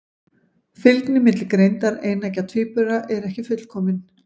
Fylgni milli greindar eineggja tvíbura er ekki fullkomin.